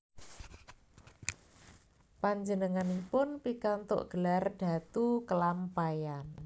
Panjenenganipun pikantuk gelar Datu Kelampaian